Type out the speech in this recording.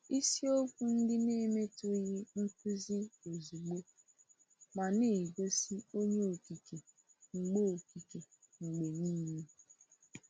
Isiokwu ndị na-emetụghị nkuzi ozugbo, ma na-egosi Onye Okike mgbe Okike mgbe niile.